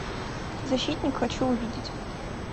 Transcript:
защитник хочу увидеть